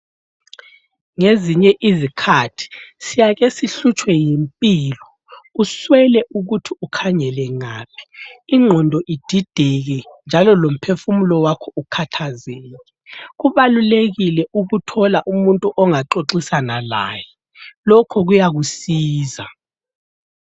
Ngezinye izikhathi siyake sihlutshwe yimpilo uswele ukuthi ukhangele ngaphi, ingqondo idideke njalon lomphefumulo wakho ukhathazeke kubalulekile ukuthola umuntu ongaxoxisana laye, lokhu kuyakusiza.